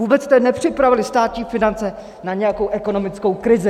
Vůbec jste nepřipravili státní finance na nějakou ekonomickou krizi.